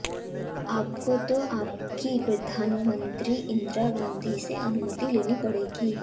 आपको तो आपकी प्रधानमंत्री इंदिरा गांधी से अनुमति लेनी पड़ेगी